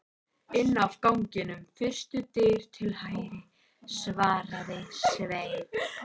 Inn af ganginum, fyrstu dyr til hægri, svaraði Sveinn.